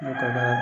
ka baara